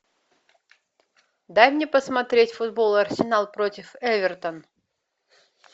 дай мне посмотреть футбол арсенал против эвертон